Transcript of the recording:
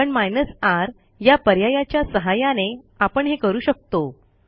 पण R या पर्यायाच्या सहाय्याने आपण हे करू शकतो